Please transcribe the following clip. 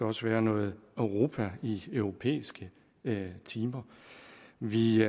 også være noget europa i europæiske timer vi